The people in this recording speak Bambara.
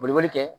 Boliboli kɛ